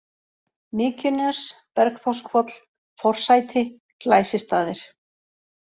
Mykjunes, Bergþórshvoll, Forsæti, Glæsistaðir